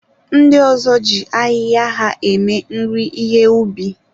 Ndị ọzọ ji ahịhịa ha eme nri ihe ubi.